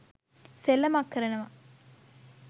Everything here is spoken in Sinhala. සෙල්ලමක් කරනවා.